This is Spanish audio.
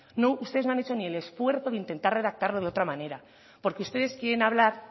no ustedes no han hecho ni el esfuerzo de intentar redactarlo de otra manera porque ustedes quieren hablar